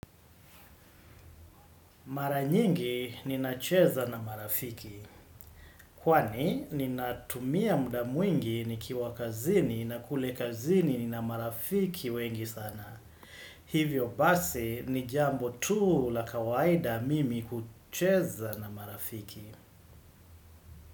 Mara nyingi ninacheza na marafiki. Kwani ninatumia muda mwingi nikiwa kazini na kule kazini na marafiki wengi sana. Hivyo basi ni jambo tu la kawaida mimi hucheza na marafiki.